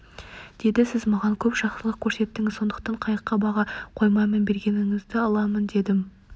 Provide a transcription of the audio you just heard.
деді сіз маған көп жақсылық көрсеттіңіз сондықтан қайыққа баға қоймаймын бергеніңізді аламын дедім